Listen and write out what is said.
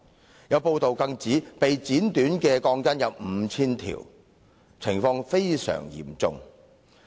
此外，有報道指被剪短的鋼筋共 5,000 根，情況相當嚴重。